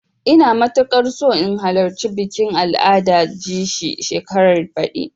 Ina matuƙar so in halarci bikin al'adar jaci shekarar baɗi.